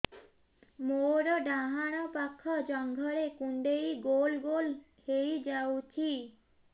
ମୋର ଡାହାଣ ପାଖ ଜଙ୍ଘରେ କୁଣ୍ଡେଇ ଗୋଲ ଗୋଲ ହେଇଯାଉଛି